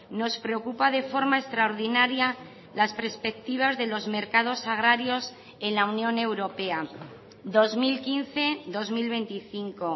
nos preocupa de forma extraordinaria las perspectivas de los mercados agrarios en la unión europea dos mil quince dos mil veinticinco